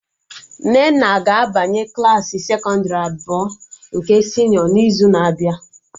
Nnenna ga-abanye Klassị sekọndrị abụọ nke senịọ n'izu na-abịa